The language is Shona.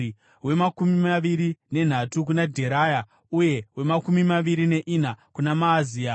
wemakumi maviri nenhatu kuna Dheraya, uye wemakumi maviri neina kuna Maazia.